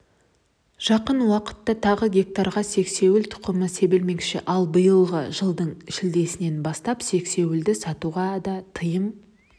жақын уақытта тағы гектарға сексеуіл тұқымы себілмекші ал биылғы жылдың шілдесінен бастап сексеуілді сатуға да тыйым